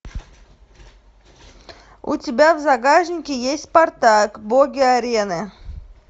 у тебя в загашнике есть спартак боги арены